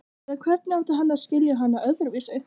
Eða hvernig átti hann að skilja hana öðruvísi?